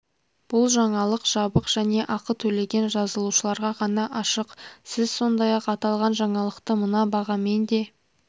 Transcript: бұл жаңалық жабық және ақы төлеген жазылушыларға ғана ашық сіз сондай-ақ аталған жаңалықты мына бағамен де